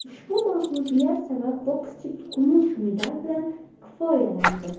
Ushbu mag‘lubiyat sabab bokschi kumush medal bilan kifoyalandi.